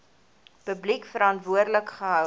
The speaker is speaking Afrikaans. publiek verantwoordelik gehou